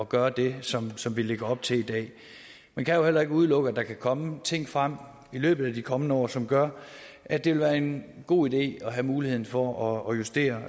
gøre det som som vi lægger op til i dag man kan jo heller ikke udelukke at der kan komme ting frem i løbet af de kommende år som gør at det vil være en god idé at have muligheden for at justere